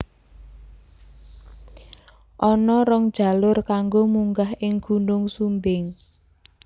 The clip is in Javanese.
Ana rong jalur kanggo munggah ing Gunung Sumbing